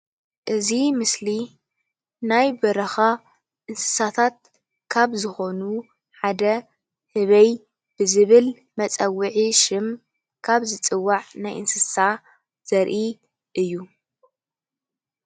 እዚ ምስሊ ናይ በረካ እንስሳታት ካብ ዝኮኑ ሓደ ህበይ ብዝብል መፀዊዒ ሽም ካብ ዝፅዋዕ ናይ እንስሳ ዘርኢ እዩ።